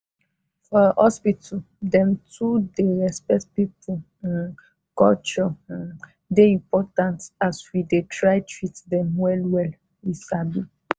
for hospital dem to dey respect people um culture um dey important as we dey try treat dem well wey we sabi.